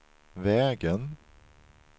vägen